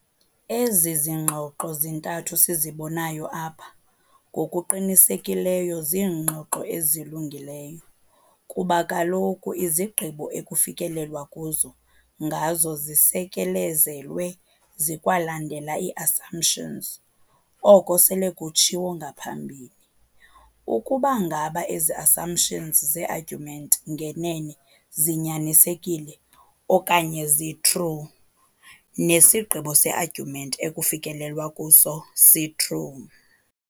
Ezi ngxoxo zintathu sizibonayo apha ngokuqinisekileyo ziingxoxo ezilungileyo kuba kaloku izigqibo ekufikelelwa kuzo ngazo zisekelezelwe zikwalandela ii-assumptions, oko sele kutshiwo ngaphambili. Ukuba ngaba ezi-assumptions ze-argument ngenene zinyanisekile okanye zi-true, nesigqibo se-argument ekufikelelwa kuso si-true.